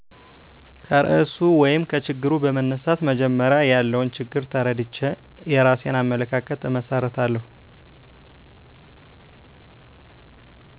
ከርዕሱ ወይም ከችግሩ በመነሳት መጀመሪያ ያለውን ችግር ተረድቼ የራሴን አመለካከት እመሰርታለሁ